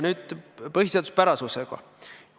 Nüüd põhiseaduspärasusest.